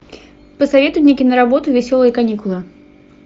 посоветуй мне киноработу веселые каникулы